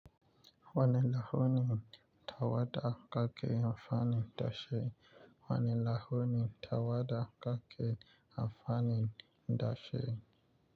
Wane lahuni tawada kake amfani da shi? Wane lahuni tawada ake amfani da shi?